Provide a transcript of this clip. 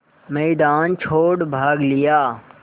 मैदान छोड़ भाग लिया